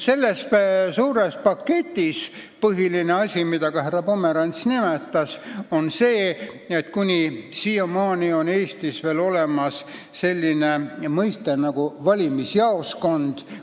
Põhiline asi selles suures paketis on see, et kuni siiamaani on Eestis veel olemas selline mõiste nagu valimisjaoskond.